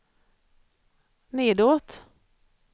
nedåt